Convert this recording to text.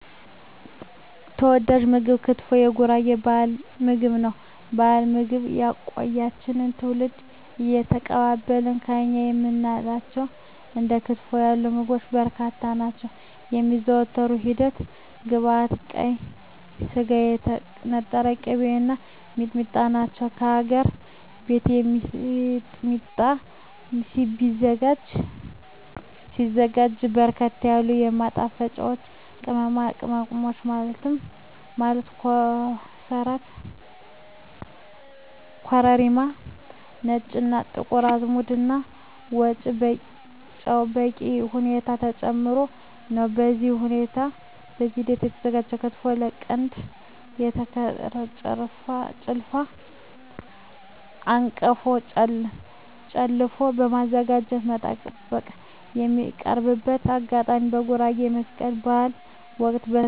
ተወዳጅ ምግብ ክትፎ የጉራጌ ባህላዊ ምግብ ነው። ባህልና ልማድ ያቆያቸው ትውልድ እየተቀባበላቸው የእኛ የምንላቸው እንደ ክትፎ ያሉ ምግቦች በርካታ ናቸው። የሚዘጋጅበት ሂደት ግብዐቶች ቀይ ስጋ, የተነጠረ ቅቤ , እና ሚጥሚጣ ናቸው። በሀገር ቤት ሚጥሚጣ ሲዘጋጅ በርከት ያሉ ማጣፈጫወች ቅመሞች ማለት ኮሰረት , ኮረሪማ , ነጭ እና ጥቁር አዝሙድ እና ጨው በበቂ ሁኔታ ተጨምሮበት ነው። በዚህ ሂደት የተዘጋጀው ክትፎ ከቀንድ በተሰራው ጭልፋ/አንቀፎ ጨለፎ በማዘጋጀት መጠቀም። የሚቀርብበት አጋጣሚ በጉራጌ በመስቀል በሀል ወቅት, በሰርግ እና በተለያዪ ዝግጅቶች ይቀርባል።።